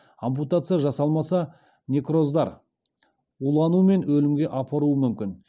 ампутация жасалмаса некроздар улану мен өлімге апаруы мүмкін